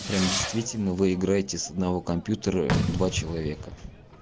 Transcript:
прям действительно вы играете с одного компьютера два человека